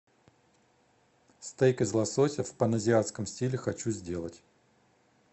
стейк из лосося в паназиатском стиле хочу сделать